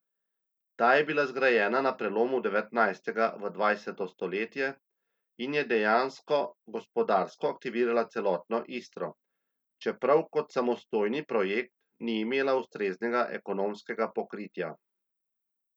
Ta je bila zgrajena na prelomu devetnajstega v dvajseto stoletje in je dejansko gospodarsko aktivirala celotno Istro, čeprav kot samostojni projekt ni imela ustreznega ekonomskega pokritja.